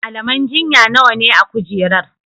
malaman jinya nawane a kujerar?